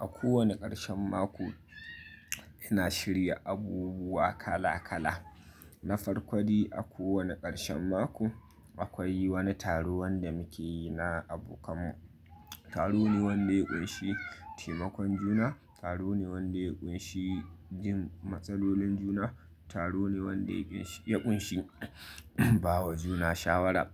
A kowane karshen mako ina shirya abubuwa kala kala. Na farko de a kowane karshen mako akwai wani taro wanda muke yi na abokan mu. Taro ne wanda ya ƙunshi taimakon juna, taro ne wanda ya ƙunshi jin matsalolin juna, taro ne wanda ya ƙunshi bawa juna shawara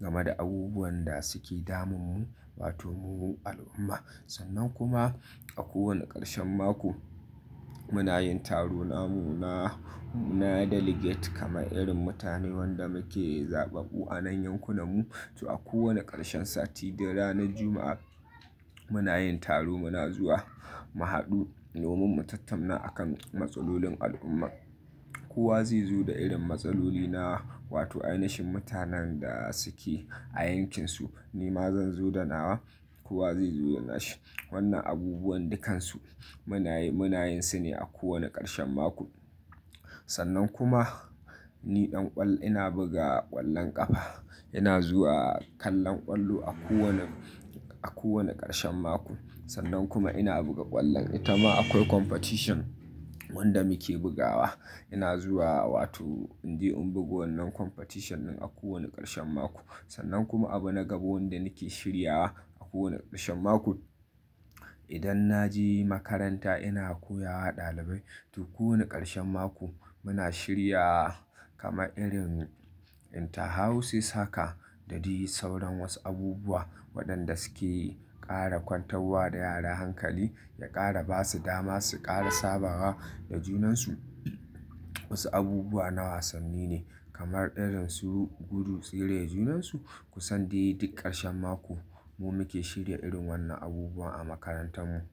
gama da abubuwan da suke damun mu wato mu al'umma. Sannan kuma a kowane karshen mako muna yin taro namu na, na delegate kamar irin mutane wanda muke zaɓaɓɓu a nan yankin mu. To a kowane karshen sati da ranar Juma'a muna yin taro muna zuwa mu hadu domin mu tattana akan matsalolin al'umma. Kowa zai zo da irin matsaloli na wato ainashin mutanen da suke a yankin su. Ni ma zan zo da nawa, kowa zai zo da nashi. Wanna abubuwan dukansu muna yin, muna yin su ne a kowane karshen maku. Sannan kuma ni dan ƙwallo ina buga ƙwallon ƙafa. Ina zuwa kallon ƙwallo a kowane, a kowane ƙarshen mako. Sannan kuma ina buga ƙwallon, ita ma akwai competition wanda muke bugawa. Ina zuwa wato in je in bugo wannan competition din a kowane ƙarshen mako. Sannan kuma abu na gaba wanda nake shirya a kowane ƙarshen mako, idan na je makaranta ina koya wa ɗalibai. To kowane ƙarshen mako muna shirya kama irin interhouses haka da duk yi sauran wasu abubuwa waɗanda suke ƙara kwantawa da yara hankali, ya ƙara basu dama, su ƙara sabawa da junan su wasu abubuwa na wasanni ne kamar irin su gudu tsire da junan su. Kusan dai duk ƙarshen mako mu muke shirya irin wannan abubuwa a makarantar mu.